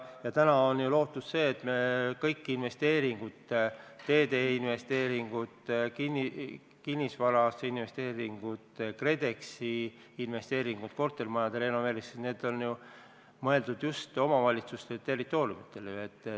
Ja täna on ju lootus see, et kõik investeeringud – teede investeeringud, kinnisvara investeeringud, KredExi investeeringud kortermajade renoveerimiseks – on ju mõeldud just omavalitsuste territooriumitele.